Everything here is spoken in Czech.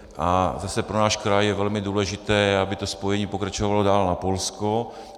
A zase pro náš kraj je velmi důležité, aby to spojení pokračovalo dál na Polsko.